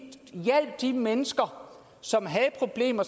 mennesker som havde problemer